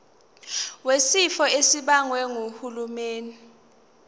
wesifo esibagwe ngumsebenzi